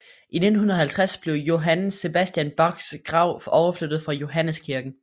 I 1950 blev Johann Sebastian Bachs grav overflyttet fra Johanneskirken